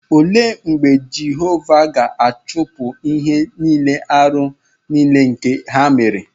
Òle mb͕e Jehova gāchupu n'ihi ihe-árú nile nke ha mere?